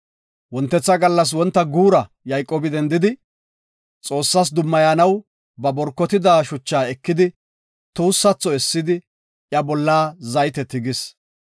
Wontetha gallas wonta guura Yayqoobi dendidi, Xoossas dummayanaw ba borkotida shucha ekidi tuussatho essidi iya bolla zayte tigis.